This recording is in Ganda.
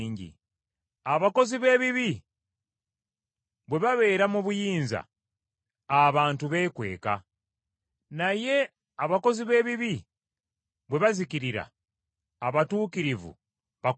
Abakozi b’ebibi bwe babeera mu buyinza, abantu beekweka, naye abakozi b’ebibi bwe bazikirira, abatuukirivu bakulaakulana.